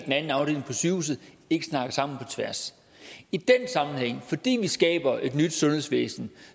eller sygehuset ikke snakker sammen på tværs i den sammenhæng og fordi vi skaber et nyt sundhedsvæsen